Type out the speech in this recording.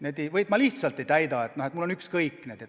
Või teatatakse, et ma lihtsalt ei täida seda korda, mul on ükskõik.